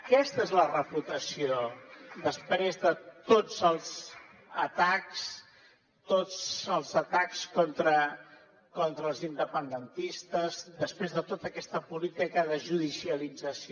aquesta és la reputació després de tots els atacs contra els independentistes després de tota aquesta política de judicialització